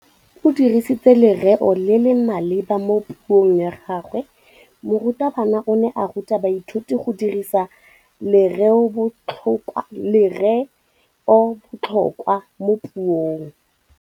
O dirisitse lerêo le le maleba mo puông ya gagwe. Morutabana o ne a ruta baithuti go dirisa lêrêôbotlhôkwa mo puong.